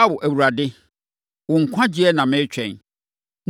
“Ao, Awurade, wo nkwagyeɛ na meretwɛn.